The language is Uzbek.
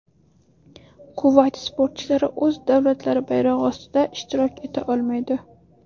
Kuvayt sportchilari o‘z davlatlari bayrog‘i ostida ishtirok eta olmaydi.